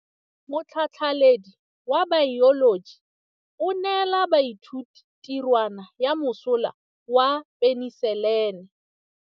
Motlhatlhaledi wa baeloji o neela baithuti tirwana ya mosola wa peniselene.